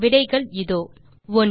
விடைகள் இதோ 1